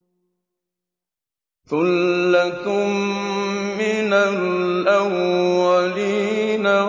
ثُلَّةٌ مِّنَ الْأَوَّلِينَ